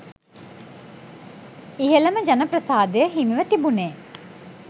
ඉහළම ජන ප්‍රසාදය හිමිව තිබුණේ